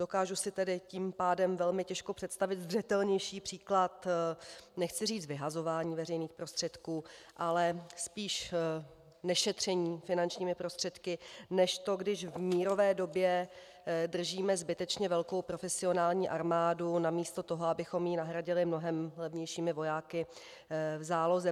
Dokážu si tedy tím pádem velmi těžko představit zřetelnější příklad - nechci říct vyhazování veřejných prostředků, ale spíš nešetření finančními prostředky než to, když v mírové době držíme zbytečně velkou profesionální armádu namísto toho, abychom ji nahradili mnohem levnějšími vojáky v záloze.